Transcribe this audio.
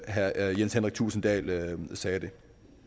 herre jens henrik thulesen dahl sagde det